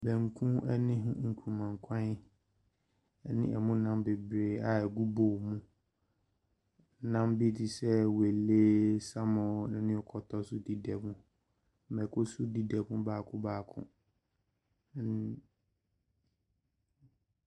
Banku ne nkuruma nkwan ne mu nnam bebree a ɛgu bowl mu. Nnam bi te sɛ wele, salmon ne kɔtɔ nso dedam. Mmako nso dedam baako baako.